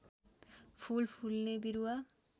फूल फुल्ने बिरुवा